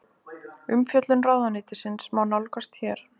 Umfjöllun ráðuneytisins má nálgast hér